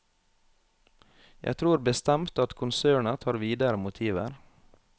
Jeg tror bestemt at konsernet har videre motiver.